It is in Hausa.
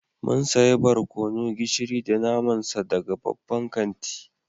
Mun sayi barkono, gishiri da naman sa daga babban kanti